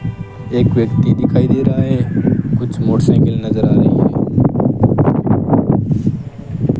एक व्यक्ति दिखाई दे रहा है कुछ मोटर साइकिल नजर आ रही है।